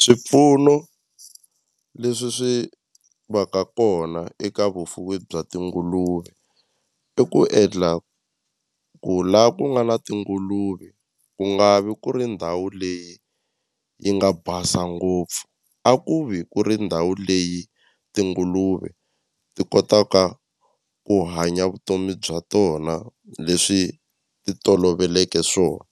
Swipfuno leswi swi va ka kona eka vufuwi bya tinguluve i ku endla ku la ku nga na tinguluve ku nga vi ku ri ndhawu leyi yi nga basa ngopfu a ku vi ku ri ndhawu leyi tinguluve ti kotaka ku hanya vutomi bya tona leswi ti toloveleke swona